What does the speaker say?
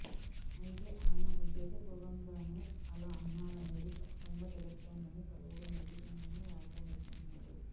అయితే ఆయన ఉద్దేశ పూర్వకంగానే అలా అన్నారనేది స్పష్టంగా తెలుస్తోందని పలువురు నెటిజన్లు వ్యాఖ్యానిస్తున్నారు